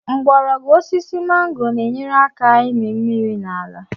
Mgbọrọgwụ osisi mango na-enyere aka ịmị mmiri n'ala